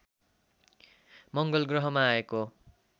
मङ्गलग्रहमा आएको